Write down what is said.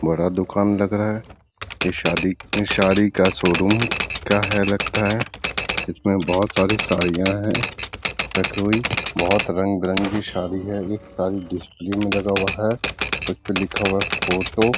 बड़ा दुकान लग रहा है ये शादी साड़ी का शोरूम का है लगता है इसमें बहुत सारी साड़ियां है रखी हुई बहुत रंग बिरंगी साड़ी है ये साड़ी डिश टी.वी. में लगा हुआ है और उसपे लिखा हुआ है फोटो --